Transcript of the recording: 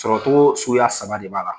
Sɔrɔcogo suguya saba de b'a la.